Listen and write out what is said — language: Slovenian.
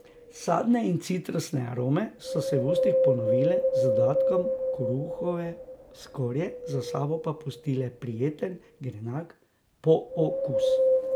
Sadne in citrusne arome so se v ustih ponovile z dodatkom kruhove skorje, za sabo pa pustile prijeten grenak pookus.